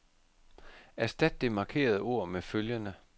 Erstat det markerede ord med følgende.